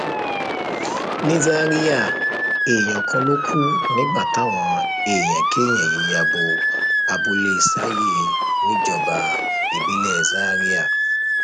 ní zaria èèyàn kan ló kù nígbà táwọn èèyàn kéèyàn yìí ya bo abúlé sayé níjọba ìbílẹ zaria